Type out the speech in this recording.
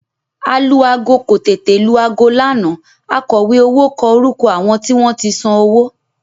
Alu-aago kò tètè lu aago lánàá akọ̀wé owó kọ orúkọ àwọn tí wọ́n san owó